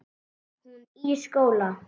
Hún í skóla.